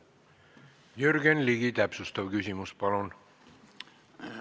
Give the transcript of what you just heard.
Jürgen Ligi, täpsustav küsimus, palun!